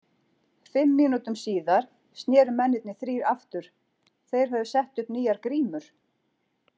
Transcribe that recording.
Fimm mínútum síðar sneru mennirnir þrír aftur, þeir höfðu sett upp nýjar grímur.